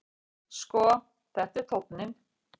Sko, þetta er tónninn!